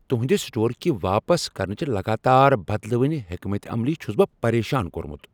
تُہندِ سٹور كہِ واپس كرنٕچہِ لگاتار بدلوٕنہِ حكمت عملی چُھس بہٕ پریشان كورمُت ۔